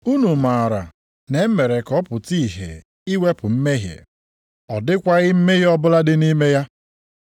Unu maara na e mere ka ọ pụta ìhè iwepụ mmehie. Ọ dịkwaghị mmehie ọbụla dị nʼime ya.